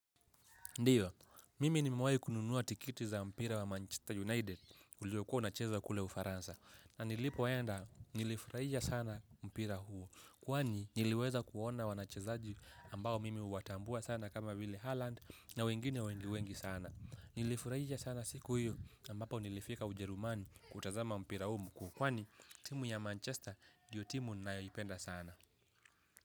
Ndiyo, mimi nimewahi kununua tiketi za mpira wa Manchester United uliokuwa unachezwa kule Ufaransa. Na nilipoenda, nilifurahia sana mpira huo. Kwani, niliweza kuona wachezaji ambao mimi huwatambua sana kama vile Haaland na wengine wengi sana. Nilifurahia sana siku hiyo ambapo nilifika Ujerumani kutazama mpira huo mkuu. Kwani, timu ya Manchester ndiyo timu ninayoipenda sana.